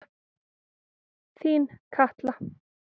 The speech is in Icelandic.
Þín Katla.